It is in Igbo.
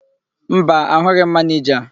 Mba, ahụghị m manịja.